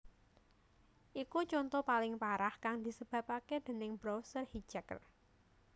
Iku conto paling parah kang disebapaké déning browser hijacker